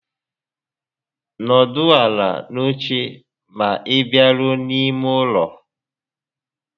N'ọdụ ala n'oche ma ị baruo n'ime ụlọ